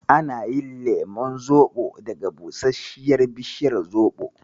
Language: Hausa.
Ana yin lemon zoɓo daga busasshiyar bishiyar zoɓo.